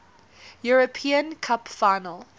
european cup final